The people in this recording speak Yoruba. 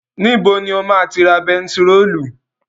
Níbo ni o ma ti ra bentiróòlù?